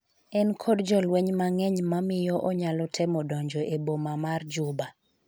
en kod jolweny mang'eny mamiyo onyalo temo donjo e boma ma Juba